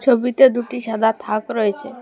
ছবিতে দুটি সাদা থাক রয়েছে।